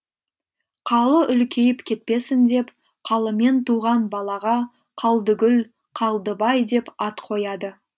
қалы үлкейіп кетпесін деп қалымен туған балаға қалдыгүл қалдыбай деп ат қояды